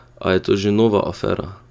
A je to že nova afera?